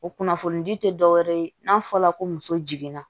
O kunnafoni di te dɔwɛrɛ ye n'a fɔla ko muso jiginna